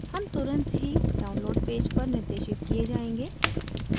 हम तुरंत ही download पेज पर निर्देशित किये जायेंगे